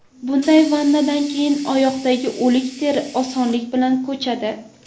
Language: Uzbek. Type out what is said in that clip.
Bunday vannadan keyin oyoqdagi o‘lik teri osonlik bilan ko‘chadi.